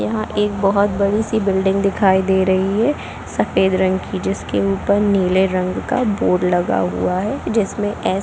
यहाँ एक बहोत बड़ी बिल्डिंग दिखाई दी रही है सफ़ेद रंग की जिसके ऊपर नीले रंग का बोर्ड लगा हुआ है जिसमें--